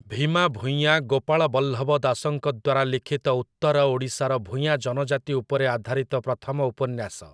ଭୀମା ଭୂଇଁଆ' ଗୋପାଳବଲ୍ଲଭ ଦାସଙ୍କ ଦ୍ୱାରା ଲିଖିତ ଉତ୍ତର ଓଡ଼ିଶାର ଭୂୟାଁ ଜନଜାତି ଉପରେ ଆଧାରିତ ପ୍ରଥମ ଉପନ୍ୟାସ ।